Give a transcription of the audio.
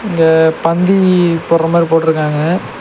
இங்க பந்தி போட்ற மாரி போட்ருக்காங்க.